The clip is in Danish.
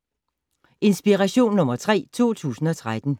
Inspiration nr. 3 2013